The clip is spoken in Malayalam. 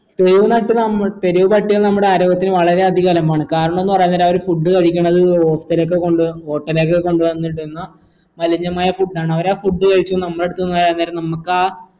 തെരുവ് നട്ട് നമ്മൾ തെരുവ് പട്ടികൾ നമ്മളുടെ ആരോഗ്യത്തിന് വളരെ അധികം അലമ്പാണ് കാരണോന്ന് പറയാൻ നേരം അവര് food കഴിക്കണത് hotel ഒക്കെ കൊണ്ട് വന്ന് hotel ഒക്കെ കൊണ്ട് വന്നിടുന്ന മലിനമായ food ആണ് അവരാ food കഴിച്ചു നമ്മളടുത്തിന്ന് വരാൻ നേരം നമ്മക്ക് ആ